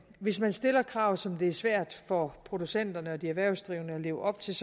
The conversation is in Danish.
hvis man stiller krav som det er svært for producenterne og de erhvervsdrivende at leve op til